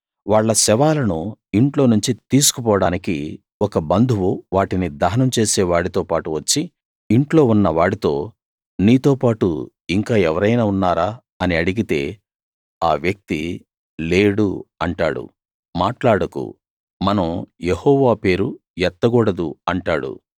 వాళ్ళ శవాలను ఇంట్లో నుంచి తీసుకు పోడానికి ఒక బంధువు వాటిని దహనం చేసే వాడితోపాటు వచ్చి ఇంట్లో ఉన్న వాడితో నీతోపాటు ఇంకా ఎవరైనా ఉన్నారా అని అడిగితే ఆ వ్యక్తి లేడు అంటాడు మాట్లాడకు మనం యెహోవా పేరు ఎత్తకూడదు అంటాడు